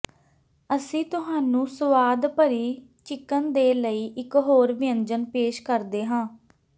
ਅਸੀਂ ਤੁਹਾਨੂੰ ਸਵਾਦ ਭਰੀ ਚਿਕਨ ਦੇ ਲਈ ਇਕ ਹੋਰ ਵਿਅੰਜਨ ਪੇਸ਼ ਕਰਦੇ ਹਾਂ